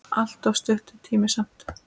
Allt of stuttur tími samt.